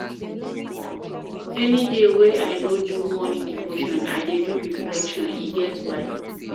Any day wey I no do morning devotion, I dey do reflection, e get why.